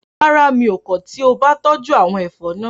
Rárá, mi ò kọ̀ tí o bá tọ́jú àwọn ẹ̀fọ́ náà